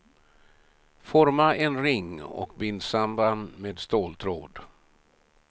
Forma en ring och bind samman med ståltråd.